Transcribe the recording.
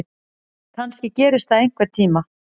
Kannski gerist það einhvern tíma.